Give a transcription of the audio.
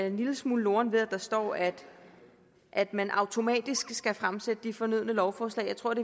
en lille smule loren ved at der står at at man automatisk skal fremsætte de fornødne lovforslag jeg tror